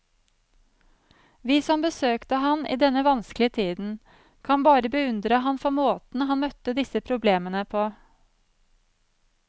Vi som besøkte ham i denne vanskelige tiden, kan bare beundre ham for måten han møtte disse problemene på.